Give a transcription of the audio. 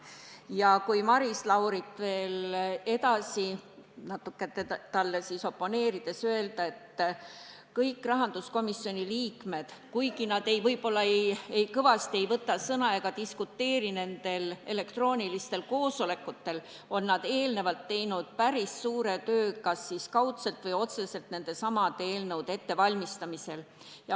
Ja võin Maris Laurile oponeerides öelda, et kõik rahanduskomisjoni liikmed, kuigi nad võib-olla kõvasti ei võta sõna ega diskuteeri nendel elektroonilistel koosolekutel, on eelnevalt ära teinud päris suure töö kas kaudselt või otseselt nendesamade eelnõude ettevalmistamisel.